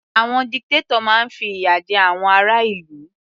Àwọn dictator máa fi ìyà jẹ àwọn ará ìlú.